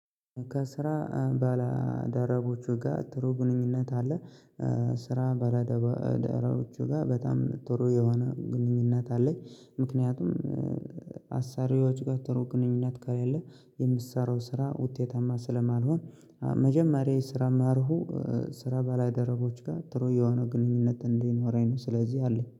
ከስራ ባለደረቦቹ ጋር ጥሩ ግንኙነት አለ። ስራ ባለደረ ደቦቹ ጋር በጣም ትሩ የሆነ ግንኙነት አለኝ። ምክንያቱም አሳሪዎቹ ጋር ትሩ ግንኙነት ከሌለኝ የምትሰራው ስራ ውጤታማ ስለማልሆን። መጀመሪያ የስራ መርሁ። ስራ በላይ ደረቦች ጋር ጥሩ የሆነ ግንኙነት እንዲኖረኝ ነው። ስለዚህ አለኝ